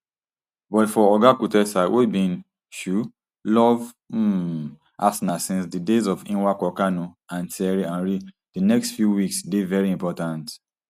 but for oga kutesa wey bin um love um arsenal since di days of nwankwo kanu and thierry henry di next few weeks dey very important